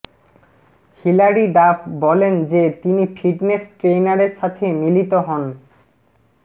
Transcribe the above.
Hillary Duff বলেন যে তিনি ফিটনেস ট্রেইনারের সাথে মিলিত হন